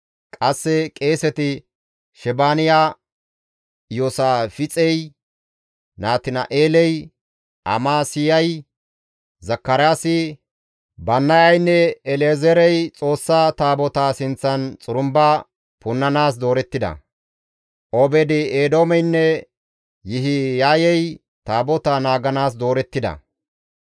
Qasse qeeseti Shebaaniya, Iyoosaafixey, Natina7eeley, Amasayey, Zakaraasi, Bannayaynne El7ezeerey Xoossa Taabotaa sinththan xurumba punnanaas doorettida; Obeed-Eedoomeynne Yihiyay Taabotaa naaganaas doorettida.